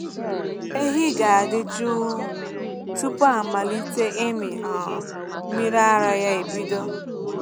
Ehi ga-adị jụụ tupu amalite ịmị um mmiri ara ya ebido.